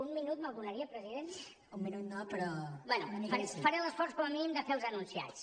un minut me’l donaria president bé faré l’esforç com a mínim de fer els enunciats